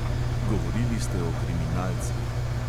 Govorili ste o kriminalcih.